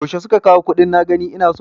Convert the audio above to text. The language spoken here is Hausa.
Yaushe suka kawo kuɗin na gani ina so?